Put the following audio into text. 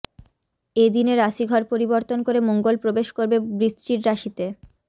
এদিনে রাশিঘর পরিবর্তন করে মঙ্গল প্রবেশ করবে বৃশ্চির রাশিতে